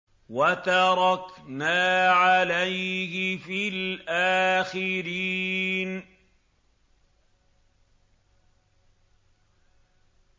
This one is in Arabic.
وَتَرَكْنَا عَلَيْهِ فِي الْآخِرِينَ